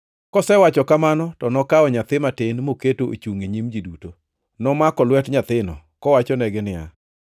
Kosewacho kamano to nokawo nyathi matin mokete ochungʼ e nyim ji duto. Nomako lwet nyathino, kowachonegi niya,